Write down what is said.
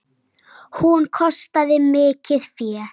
Hún kostaði mikið fé.